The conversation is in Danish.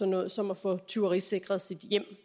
noget som at få tyverisikret sit hjem